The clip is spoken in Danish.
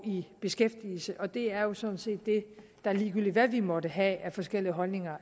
i beskæftigelse og det er er sådan set det der ligegyldigt hvad vi måtte have af forskellige holdninger